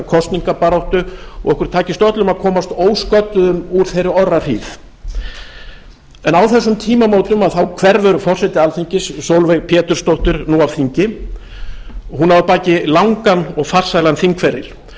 kosningabaráttu og okkur takist öllum að komast ósködduðum úr þeirri orrahríð á þessum tímamótum hverfur forseti alþingis sólveig pétursdóttir nú af þingi hún á að baki langan og farsælan þingferil og